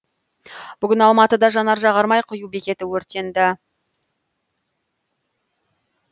бүгін алматыда жанар жағармай құю бекеті өртенді